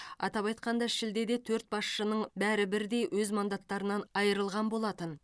атап айтқанда шілдеде төрт басшының бәрі бірдей өз мандаттарынан айырылған болатын